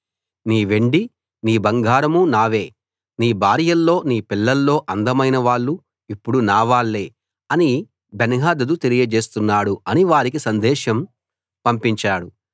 నీ వెండి నీ బంగారం నావే నీ భార్యల్లో నీ పిల్లల్లో అందమైన వాళ్ళు ఇప్పుడు నా వాళ్ళే అని బెన్హదదు తెలియచేస్తున్నాడు అని వారికి సందేశం పంపించాడు